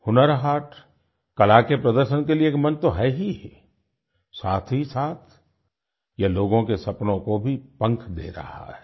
हुनर हाट कला के प्रदर्शन के लिए एक मंच तो है ही साथहीसाथ यह लोगों के सपनों को भी पंख दे रहा है